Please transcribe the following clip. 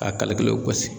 A kalite gasi